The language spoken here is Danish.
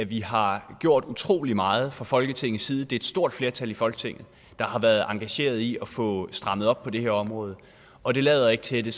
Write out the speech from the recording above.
vi har gjort utrolig meget fra folketingets side det er et stort flertal i folketinget der har været engageret i at få strammet op på det her område og det lader ikke til at det